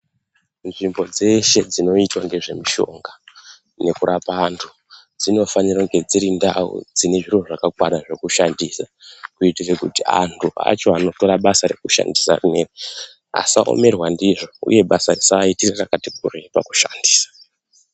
Nzvimbo dzeshe dzinoitwa ngezvemushonga yekurapa antu. Dzinofanira kunge dziri ndau dzine zviro zvakakwana dzekushandisa. Kuitira kuti antu acho anotora basa rekushandisa rinoiri asa remerwa ndizvo, uye basa risaite rakati kurei pakushandisa.